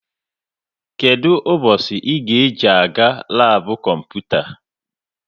Kedụ ụbọchị ị ji-aga labu kọmputa?